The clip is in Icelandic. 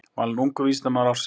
Valinn ungur vísindamaður ársins